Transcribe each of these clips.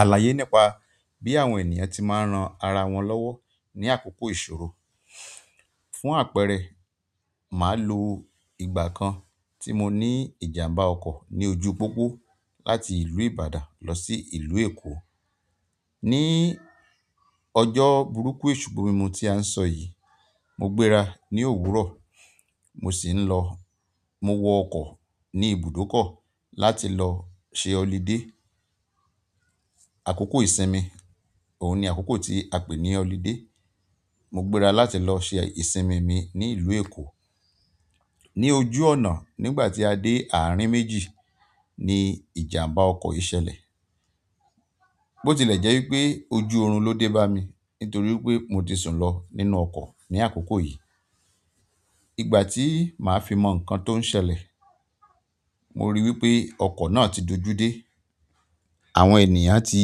Àlàyé nípa bí àwọn ènìyàn ti máa ń ran ara wọn lọ́wọ́ ní àkókò ìṣòro. Fún àpẹẹrẹ, màá lo ìgbà kan tí mo ní ìjàmbá ọkọ̀ ní ojú pópó láti ìlú Ìbàdàn lọ sí ìlú Èkó. Ni ọjọ́ burúkú èṣù gbo mi mu tí a ń sọ yìí, mo gbéra ní òwúrọ̀, mo sì ń lọ. Mo wọ ọkọ̀ ní ibùdókọ̀ láti lọ ṣe holiday. Àkókò ìsinmi, òun ni àkókò tí a pè ní holiday. Mo gbéra láti lọ ṣe ìsinmi mi ní ìlú Èkó. Ni ojú ọ̀nà, nígbà tí a dé àárín méjì ni ìjàmbá ọkọ̀ yìí ṣẹlẹ̀. Bó tilẹ̀ jẹ́ wípé ojú oorun ló dé bá mi nítorí wípé mo ti sùn lọ nínú ọkọ̀ ní àkókò yìí. Ìgbà tí màá fi mọ nǹkan tó ń ṣẹlẹ̀, mo ríi wípé ọkọ̀ náà ti dojú dé. Àwọn ènìyàn tí,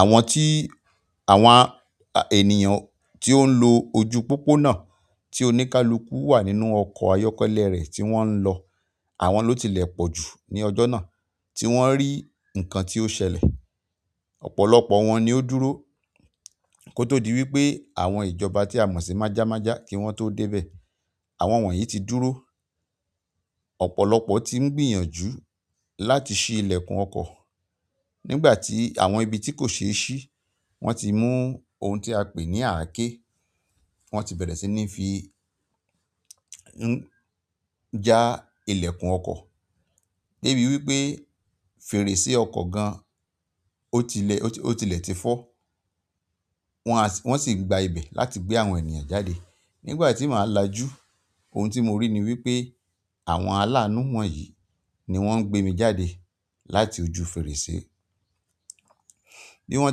àwọn tí, àwọn ènìyàn tí ó ń lo ojú pópó náà tí oníkálukú wà nínú ọkọ̀ ayọ́kẹ́lẹ́ rẹ̀ tí wọ́n ń lọ, àwọn ló tilẹ̀ pọ̀ jù ní ọjọ́ náà tí wọ́n rí nǹkan tí ó ṣẹlẹ̀. Ọ̀pọ̀lọpọ̀ wọn ni ó dúró kó tó di wípé àwọn ìjọba tí a mọ̀ sí májámájá kí wọ́n tó dé bẹ̀. Àwọn wọ̀nyí ti dúró. Ọ̀pọ̀lọpọ̀ tí ń gbìyànjú láti ṣí ilẹ̀kùn ọkọ̀. Nigbati àwọn ibi ti ko ṣe si wọn ti mu oun ti a pe ni ake. Wọ́n ti bẹ̀rẹ̀ sí ní fi ń já ilẹ̀kùn ọkọ̀. De bi wípé fèrèsé ọkọ̀ gan ọ́ tilẹ̀, o tilẹ̀ ti fọ́. Wọ́n sì ń gba ibẹ̀ láti gbé àwọn ènìyàn jáde. Nígbà tí màá lajú, ohun tí mo rí ni wípé àwọn aláànú wọ̀nyí ni wọ́n ń gbé mi jáde láti ojú fèrèsé. Bí wọ́n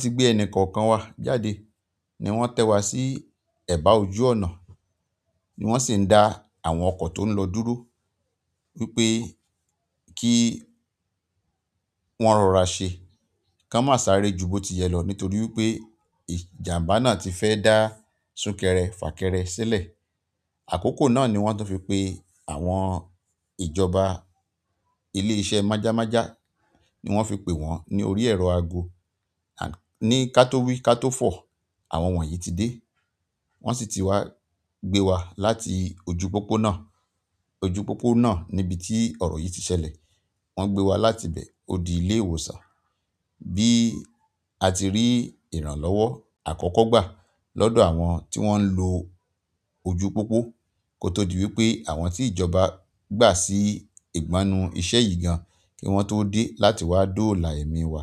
ti gbé ẹni kọ̀ọ̀kan wa jáde ni wọ́n tẹ́ wa sí ẹ̀bá ojú ọ̀nà ni wọ́n sì ń dá àwọn ọkọ̀ tó ń lọ dúró wi pe ki wọn rora se ki won ma sáré ju bo ti yẹ lo nítorí wípé ìjàmbá náà ti fẹ́ dá sunkẹrẹ fakẹrẹ sílẹ̀. Àkókò náà ni wọ́n tun fi pe àwọn ìjọba ilé iṣẹ́ májámájá ni wọ́n fi pè wọ́n ní orí ẹ̀rọ ago. Ni ká tó wí ká tó fọ̀, àwọn wọ̀nyí ti dé. Wọ́n sì ti wá gbé wa láti ojú pópó náà. Ojú pópó náà ni ibi tí ọ̀rọ̀ yìí ti ṣẹlẹ̀. Wọ́n gbé wa láti bẹ̀ ó di ilé ìwòsàn. Bí a ti rí ìrànlọ́wọ́ àkọ́kọ́ gbà lọ́dọ̀ àwọn tí wọ́n ń lo ojú pópó kó tó di wípé àwọn tí ìjọba gbà sí ìgbánu iṣẹ́ yìí gan kí wọ́n tó dé láti wá dóòlà ẹ̀mí wa.